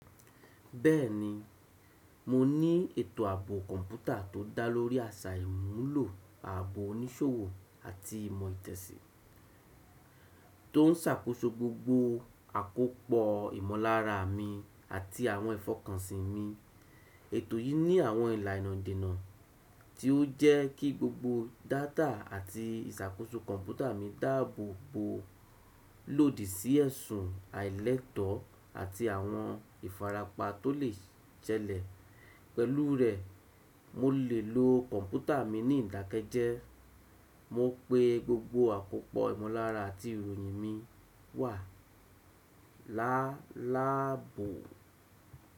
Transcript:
Bẹ́ẹ̀ni, mo ní ètò ààbò kọ̀ǹpútà tó dá lórí àṣà ìmúlò ààbò oníṣòwò àti ìmọ̀ ìtẹ̀sí, tó ń ṣàkóso gbogbo àkópọ̀ ìmọ̀lára mi àti àwọn ìfọkànsìn mi. Ètò yìí ní àwọn ìlànà dènà tí ó jẹ́ kí gbogbo data àti ìṣàkóso kọ̀ǹpútà mi dáàbò bo lòdì sí ẹ̀sùn àìlẹ́tọ̀ àti àwọn ìfarapa tó lè sẹlẹ̀. Pẹ̀lú rẹ̀, mo lè lo kọ̀ǹpútà mi ní ìdákeẹ́jẹ́ mọ́ pé gbogbo àkópọ̀ ìmọ̀lára àti ìròyìn mi wà lá láàbò.